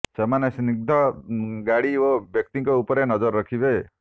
ସେମାନେ ସନ୍ଦିଗ୍ଧ ଗାଡି ଓ ବ୍ୟକ୍ତିଙ୍କ ଉପରେ ନଜର ରଖିବେ